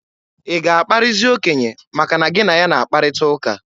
Ị ga-akparịzi okenye maka na gị na ya na-akparịta ụka?